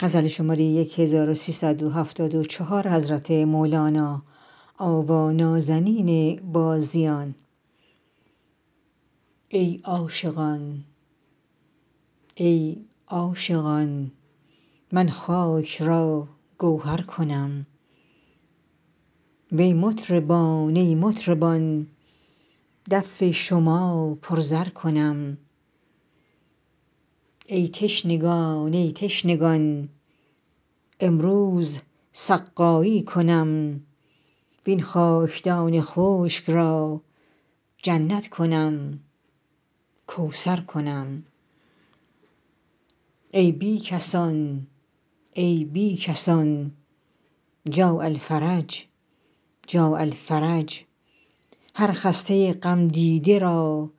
ای عاشقان ای عاشقان من خاک را گوهر کنم وی مطربان ای مطربان دف شما پر زر کنم ای تشنگان ای تشنگان امروز سقایی کنم وین خاکدان خشک را جنت کنم کوثر کنم ای بی کسان ای بی کسان جاء الفرج جاء الفرج هر خسته غمدیده را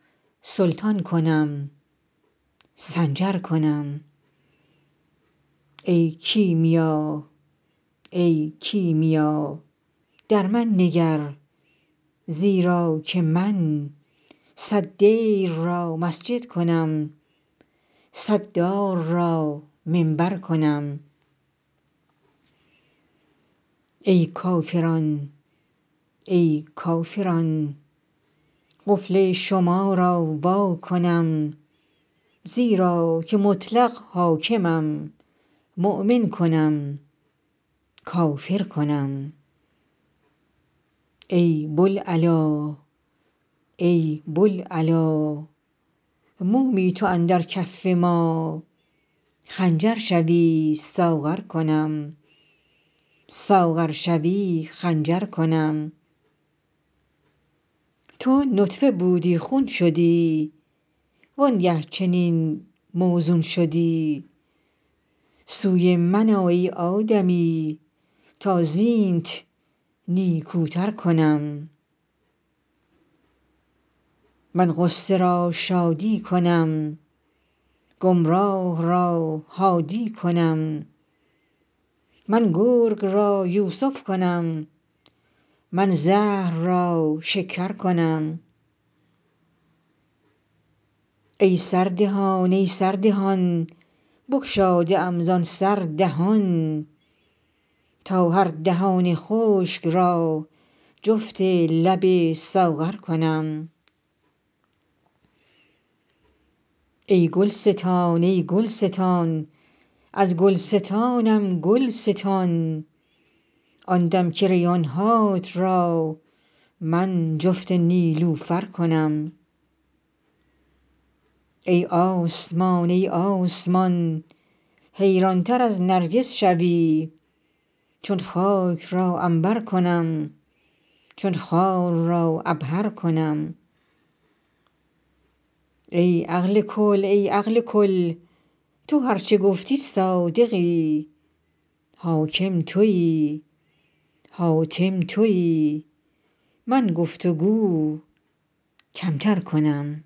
سلطان کنم سنجر کنم ای کیمیا ای کیمیا در من نگر زیرا که من صد دیر را مسجد کنم صد دار را منبر کنم ای کافران ای کافران قفل شما را وا کنم زیرا که مطلق حاکمم مؤمن کنم کافر کنم ای بوالعلا ای بوالعلا مومی تو اندر کف ما خنجر شوی ساغر کنم ساغر شوی خنجر کنم تو نطفه بودی خون شدی وانگه چنین موزون شدی سوی من آ ای آدمی تا زینت نیکوتر کنم من غصه را شادی کنم گمراه را هادی کنم من گرگ را یوسف کنم من زهر را شکر کنم ای سردهان ای سردهان بگشاده ام زان سر دهان تا هر دهان خشک را جفت لب ساغر کنم ای گلستان ای گلستان از گلستانم گل ستان آن دم که ریحان هات را من جفت نیلوفر کنم ای آسمان ای آسمان حیرانتر از نرگس شوی چون خاک را عنبر کنم چون خار را عبهر کنم ای عقل کل ای عقل کل تو هر چه گفتی صادقی حاکم تویی حاتم تویی من گفت و گو کمتر کنم